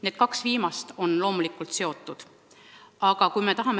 Need kaks viimast on loomulikult omavahel seotud.